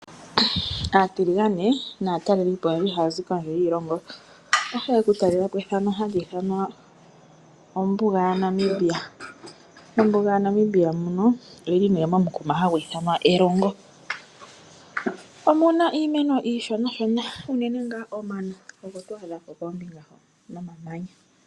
Aatiligane naatalelipo oyeli hayazi kondje yiilongo . Oyehole oku talelapo ehala hali ithanwa ombuga ya Namibia. Ombuga ya Namibia oyili moshitopolwa hashi ithanwa Erongo. Omuna iimeno iishona unene omano ogo to adhamo nomamanya.